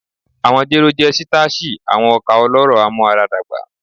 Awọn jero jẹ sitashi, awọn oka ọlọrọ amuaradagba